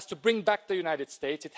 It has to bring back the United States.